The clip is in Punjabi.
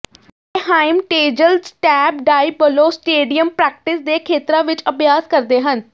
Anaheim Angels Tempe Diablo stadium practice ਦੇ ਖੇਤਰਾਂ ਵਿੱਚ ਅਭਿਆਸ ਕਰਦੇ ਹਨ